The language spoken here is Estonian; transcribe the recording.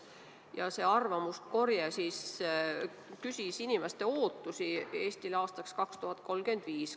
Ja selle arvamuskorje käigus küsiti inimeste ootusi Eestile aastaks 2035.